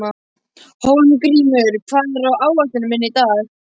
Hólmgrímur, hvað er á áætluninni minni í dag?